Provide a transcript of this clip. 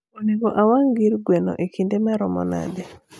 onego awang gir gweno e kinde maromo nade